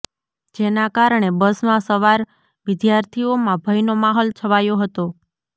જેના કારણે બસમાં સવાર વિદ્યાર્થીઓમાં ભયનો માહોલ છવાયો હતો